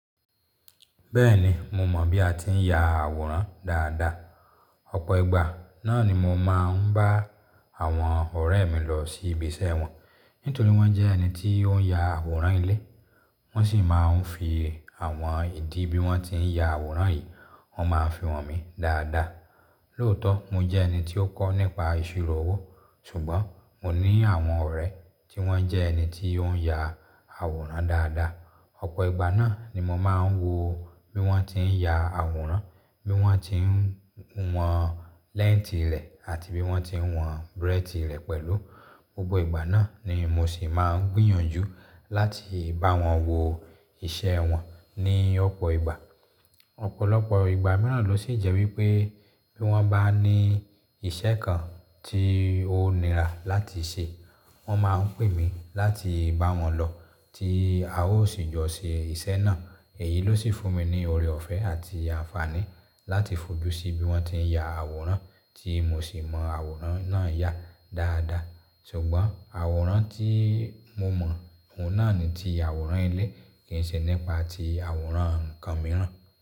Bẹ́ẹ̀ni, mo mọ̀ bí a ti ń ya àwòrán dáadáa. Ọ̀pọ̀ ìgbà náà ni mo máa ń bá àwọn ọ̀rẹ́ mi lọ sí ibi iṣẹ́ wọn. Nítorí wọ́n jẹ́ ẹni tí ó ń ya àwòrán ilé, wọ́n sì máa ń fi àwọn ìdí bí wọ́n tí ń ya àwòrán yìí, wọ́n máa ń fi hàn mí dáadáa. Lóòótọ́, mo jẹ́ ẹni tí ó kọ́ nípa ìṣirò owó, ṣùgbọ́n mo ní àwọn ọ̀rẹ́ tí wọ́n jẹ́ ẹni tí ó ń ya àwòrán dáadáa. Ọ̀pọ̀ ìgbà náà ni mo máa ń wo bí wọ́n tí ń ya àwòrán, bí wọ́n tí ń wọn lẹ́ǹtì rẹ̀ àti bí wọ́n tí ń wọn brẹ́tì rẹ̀ pẹ̀lú. Gbogbo ìgbà náà ni mo sì máa ń gbìyànjú láti bá wọn wo iṣẹ́ wọn ní ọ̀pọ̀ ìgbà. Ọ̀pọ̀lọpọ̀ ìgbà mìíràn ló sì jẹ́ wípé bí wọ́n bá ní ìṣe kan tí ó nira láti ṣe, wọ́n máa ń pè mí láti bá wọn lọ tí a ó sì jọ́ ṣe iṣẹ́ náà. Èyí ló sì fún mi ní oore ọ̀fẹ́ àti àǹfààní láti fojú sí bí wọ́n tí ń ya àwòrán tí mo sì mọ àwòrán náà yá dáadáa. Ṣùgbọ́n àwòrán tí mo mọ̀, òun náà ni ti àwòrán ilé kì í ṣe nípa ti àwòrán ǹkan mìíràn.